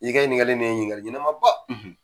N'i kɛ ɲiningali nin ye ɲiningali ɲɛnama ba.